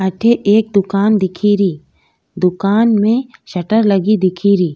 अठ एक दुकान दिखेरी दुकान में शटर लगी दिखेरी।